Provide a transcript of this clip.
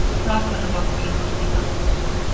Hrakfallabálkurinn brosti í kampinn.